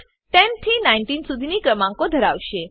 output 10 થી 19 સુધીનાં ક્રમાંકો ધરાવશે